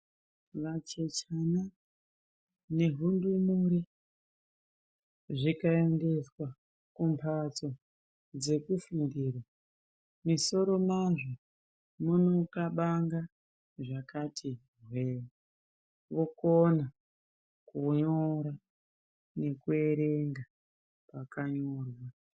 Vacheche nehundumure zvikaendeswaa kumbatsoo dzekufundira, misoro mazvo munokabanga zvakati hwee. Vokona kunyora nekuerenga zvakanyorwa.